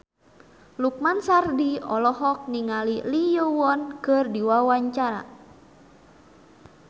Lukman Sardi olohok ningali Lee Yo Won keur diwawancara